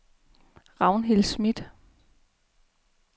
Ragnhild Smith